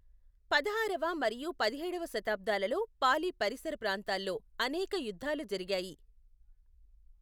పదహారవ మరియు పదిహేడవ శతాబ్దాలలో పాలి పరిసర ప్రాంతాల్లో అనేక యుద్ధాలు జరిగాయి.